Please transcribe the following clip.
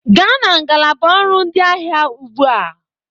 gaa na ngalaba ọrụ ndị ahịa ugbu a!